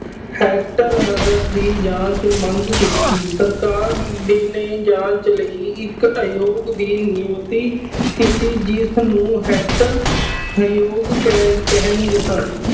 ਹੱਟਕਰ ਆਯੋਗ ਦੀ ਜਾਂਚ ਮੰਗ ਕੀਤੀ। ਸਰਕਾਰ ਨੇ ਜਾਂਚ ਲਈ ਇੱਕ ਆਯੋਗ ਦੀ ਨਿਯੁਕਤੀ ਕੀਤੀ। ਜਿਸਨੂੰ ਹੱਟਕਰ ਆਯੋਗ ਕਹਿਣ ਕਹਿੰਦੇ ਸਨ।